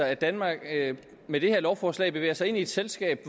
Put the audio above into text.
at danmark med det her lovforslag bevæger sig ind i et selskab